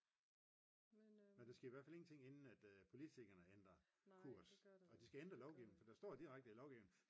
men der sker i hvert fald ingenting inden at politikerne ændrer kurs og de skal ændre lovgivning for der står direkte i lovgivining